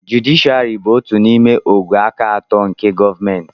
jụdịshịàrị bụ otu n'ime ògwè aka atọ nke gọọmentị